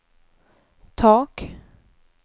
tak